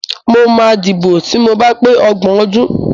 Mo máa dìbò ti mo ba pé ọgbọ̀n ọdún.